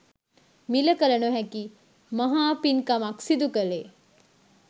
මිල කළ නොහැකි මහා පින්කමක් සිදු කළේ